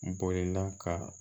Bolila ka